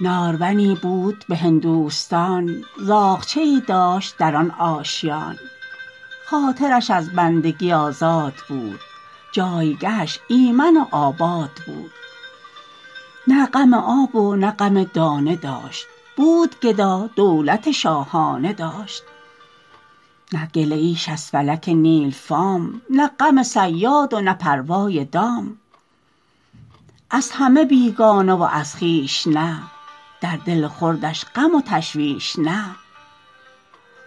نارونی بود به هندوستان زاغچه ای داشت در آن آشیان خاطرش از بندگی آزاد بود جایگهش ایمن و آباد بود نه غم آب و نه غم دانه داشت بود گدا دولت شاهانه داشت نه گله ایش از فلک نیلفام نه غم صیاد و نه پروای دام از همه بیگانه و از خویش نه در دل خردش غم و تشویش نه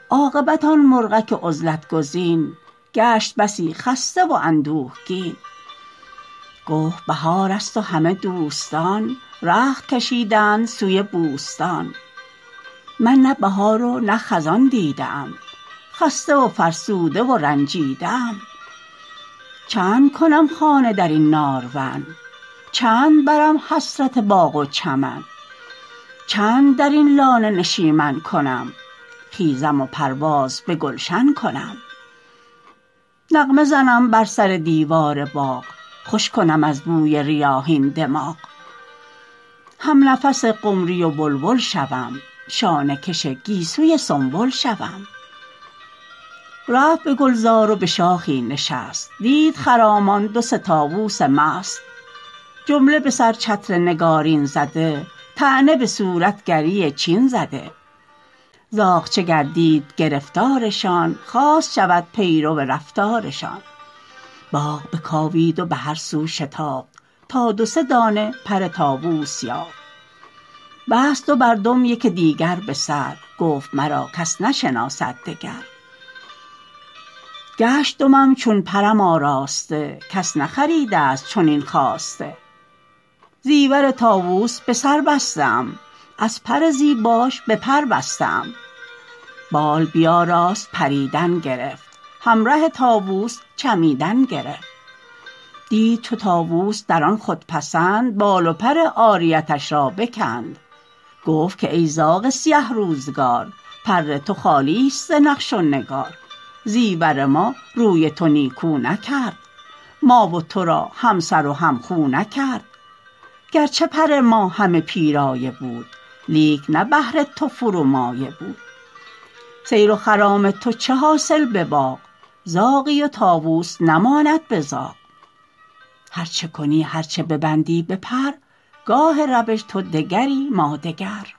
عاقبت آن مرغک عزلت گزین گشت بسی خسته و اندوهگین گفت بهار است و همه دوستان رخت کشیدند سوی بوستان من نه بهار و نه خزان دیده ام خسته و فرسوده و رنجیده ام چند کنم خانه درین نارون چند برم حسرت باغ و چمن چند در این لانه نشیمن کنم خیزم و پرواز بگلشن کنم نغمه زنم بر سر دیوار باغ خوش کنم از بوی ریاحین دماغ همنفس قمری و بلبل شوم شانه کش گیسوی سنبل شوم رفت به گلزار و بشاخی نشست دید خرامان دو سه طاوس مست جمله بسر چتر نگارین زده طعنه بصورت گری چین زده زاغچه گردید گرفتارشان خواست شود پیرو رفتارشان باغ بکاوید و بهر سو شتافت تا دو سه دانه پر طاوس یافت بست دو بر دم یک دیگر بسر گفت مرا کس نشناسد دگر گشت دمم چون پرم آراسته کس نخریدست چنین خواسته زیور طاوس بسر بسته ام از پر زیباش به پر بسته ام بال بیاراست پریدن گرفت همره طاوس چمیدن گرفت دید چو طاوس در آن خودپسند بال و پر عاریتش را بکند گفت که ای زاغ سیه روزگار پر تو خالی است ز نقش و نگار زیور ما روی تو نیکو نکرد ما و تو را همسر و همخو نکرد گرچه پر ما همه پیرایه بود لیک نه بهر تو فرومایه بود سیر و خرام تو چه حاصل بباغ زاغی و طاوس نماند به زاغ هر چه کنی هر چه ببندی به پر گاه روش تو دگری ما دگر